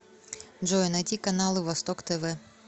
джой найти каналы восток тв